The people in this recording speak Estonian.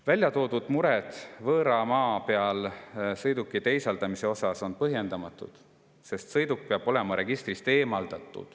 Väljatoodud mured võõra maa peal sõiduki teisaldamise kohta on põhjendamatud, sest sõiduk peab olema registrist eemaldatud.